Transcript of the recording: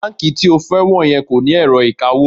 Báǹkì tí o fẹ́ wọ̀ yẹn kò ní ẹ̀rọ ìkawó